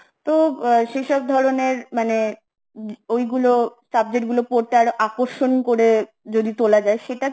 তো আ সেই সব ধরনের মানে, ওই গুলো subject গুলো পড়তে আরো আকর্ষণ করে যদি তোলা যায় সেটা